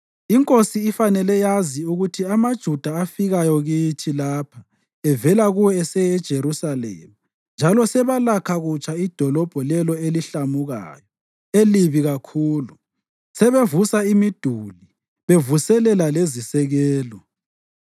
Inkosi ifanele yazi ukuthi amaJuda afikayo kithi lapha evela kuwe aseye eJerusalema njalo sebelakha kutsha idolobho lelo elihlamukayo, elibi kakhulu. Sebevusa imiduli bevuselela lezisekelo.